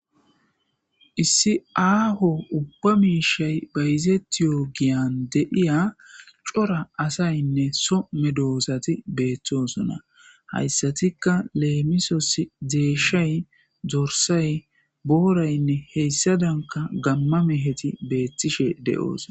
Issi aaho ubba miishay bayzetiyo giyan deiya cora asaynne some doosati beeththosona hayssatika leemisos deeshay dorsay booraynne heyssadanka gamma meheti beettishe de'oos